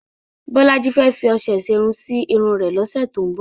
Bọ́lájí fẹ́ fi ọṣẹ ìṣerun sí irun rẹ̀ lọ́sẹ̀ tó ń bọ̀.